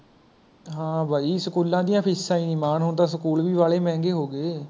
ਹਾਂ ਬਾਈ ਸਕੂਲਾਂ ਦੀਆ ਫੀਸਾਂ ਹੀ ਨਹੀ ਮਾਣ ਹੁਣ ਤਾਂ School ਵੀ ਵਾਲੇ ਮਹੰਗੇ ਹੋ ਗਏ